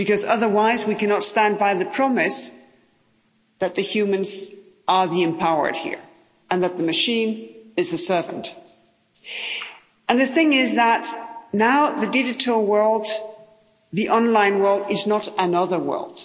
Otherwise we cannot stand by the promise that the humans are the empowered here and that the machine is a servant. The thing is that now the digital world, the online world, is not another world.